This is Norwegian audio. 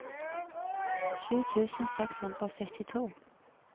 sju tusen seks hundre og syttito